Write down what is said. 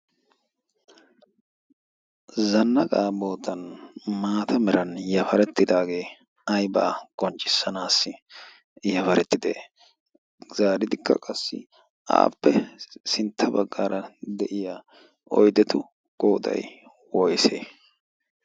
zanna gaa bootan maata meran yafarettidaagee ai baa qonccissanaassi yafarettide'e zaaridikka qassi aappe sintta baggaara de'iya oidetu goodai woyse?